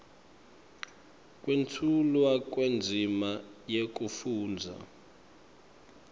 kwetfulwa kwendzima yekufundza